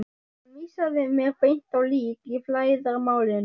Hann vísaði mér beint á lík í flæðarmálinu.